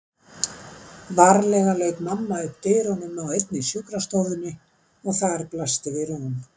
Varlega lauk mamma upp dyrunum á einni sjúkrastofunni og þar blasti við rúm.